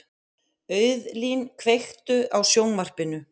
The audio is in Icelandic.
Auðlín, kveiktu á sjónvarpinu.